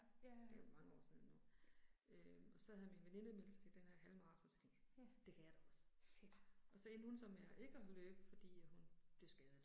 Det er jo mange år siden nu øh. Og så havde min veninde meldt sig til den her halvmaraton så jeg tænkte det kan jeg da også. Og så endte hun så med ikke at løbe fordi at hun blev skadet